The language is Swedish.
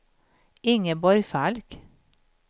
Ingeborg Falk